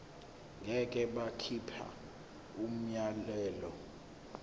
ngeke bakhipha umyalelo